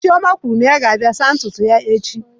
Chioma kwuru na ya ga-abịa saa ntutu ya echi.